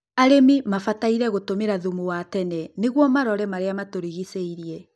arĩmi mabataire gũtũmĩra thumu wa tene niguo marore marĩa matũrigicĩirie